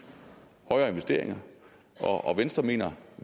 højere investeringer og venstre mener